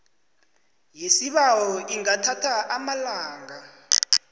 yesibawo ingathatha amalanga